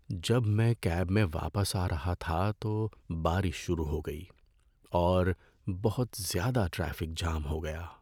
جب میں کیب میں واپس آ رہا تھا تو بارش شروع ہو گئی، اور بہت زیادہ ٹریفک جام ہو گیا۔